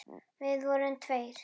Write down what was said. Við vorum tveir.